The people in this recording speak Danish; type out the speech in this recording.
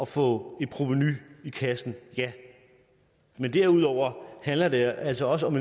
få et provenu i kassen ja men derudover handler det altså også om